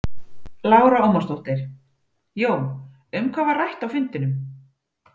Lára Ómarsdóttir: Jón, um hvað var rætt á fundinum?